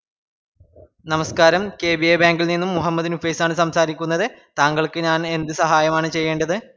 നമസസ്ക്കാരം K B A bank ഇൽ നിന്നു മുഹമ്മദ് നുഫൈസ് ആണ് സംസാരിക്കുന്നത് താങ്കൾക്ക് ഞാന്എന്ത് സഹായമാണ് ചെയ്യേണ്ടത്